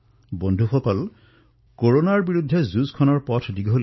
বন্ধুসকল কৰোনাৰ বিৰুদ্ধে আমাৰ এই যুদ্ধৰ পথ দীঘলীয়া